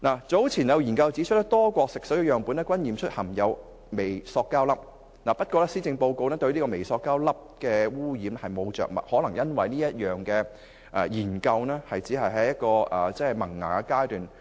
早前有研究指出，多個國家的食水樣本均驗出含有微膠粒，但施政報告對微膠粒污染並無着墨，可能這是因為有關項目只剛處於萌芽階段。